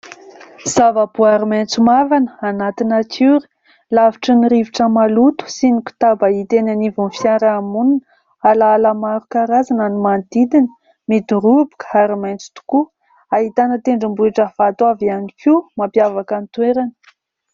Zava-boary maitso mavana anaty natiora, lavitra ny rivotra maloto sy ny kotaba hita eny anivon'ny fiarahamonina. Alaala maro karazana no manodidina, midoroboka ary maitso tokoa, ahitana tendrombohitra vato avy ihany koa mampiavaka ny toerana.